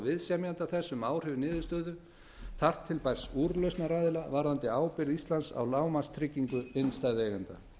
viðsemjenda þess um áhrif niðurstöðu þar til bærs úrlausnaraðila varðandi ábyrgð íslands á lágmarkstryggingu innstæðueigenda